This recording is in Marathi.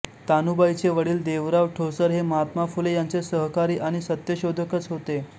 तानुबाईचे वडील देवराव ठोसर हे महात्मा फुले यांचे सहकारी आणि सत्यशोधकच होते